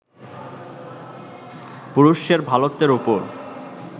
পুরুষের ভালোত্বের ওপর